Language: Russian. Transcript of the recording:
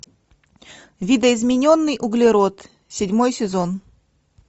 видоизмененный углерод седьмой сезон